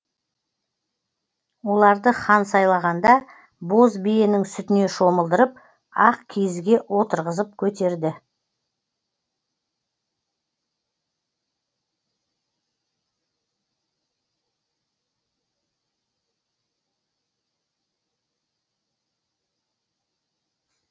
оларды хан сайлағанда боз биенің сүтіне шомылдырып ақ киізге отырғызып көтерді